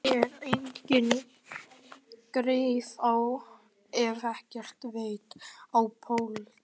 Ég er enginn greifi og hef ekkert vit á pólitík.